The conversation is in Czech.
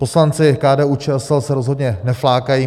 Poslanci KDU-ČSL se rozhodně neflákají.